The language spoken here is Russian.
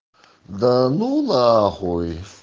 да ну нахуй